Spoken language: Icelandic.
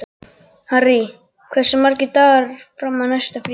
Harry, hversu margir dagar fram að næsta fríi?